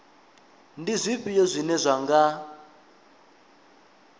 ndi zwifhio zwine zwa nga